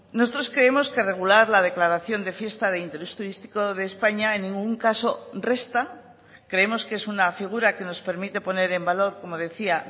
nosotros creemos que regular la declaración de fiesta de interés turístico de españa en ningún caso resta creemos que es una figura que nos permite poner en valor como decía